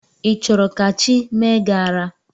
Ị chọrọ ka chi mee gị ara?